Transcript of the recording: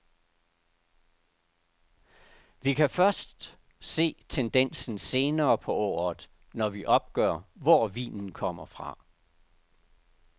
Vi kan først se tendensen senere på året, når vi opgør, hvor vinen kommer fra.